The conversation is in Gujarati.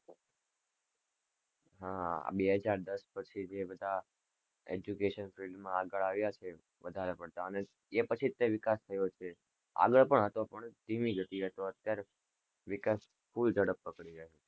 હા, આ બે હજાર દસ પછી જે બધા education field માં આગળ આવ્યા છે વધારે પડતા અને તે પછી જ તે વિકાસ થયો છે, આગળ પણ હતો પણ ધીમી ગતિએ હતો, અત્યારે વિકાસ full ઝડપ પકડી